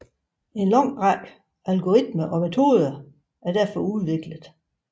En lang række algoritmer og metoder er derfor udviklet